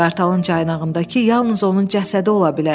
Qartalın caynağındakı yalnız onun cəsədi ola bilərdi.